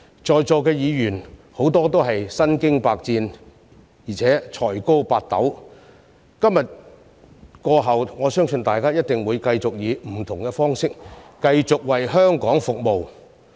在座的議員，很多都是身經百戰，而且才高八斗，今天過後，我相信大家一定會繼續以不同方式為香港服務。